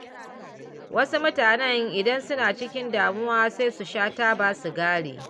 Wasu mutanen idan suna cikin damuwa, sai su sha taba sigari.